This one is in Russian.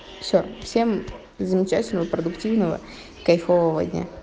все всем замечательного продуктивного кайфового дня